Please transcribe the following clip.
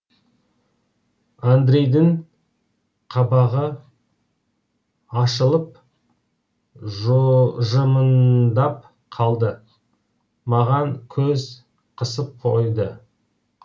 андрейдің қабағы ашылып жымыңдап қалды маған көз қысып қойды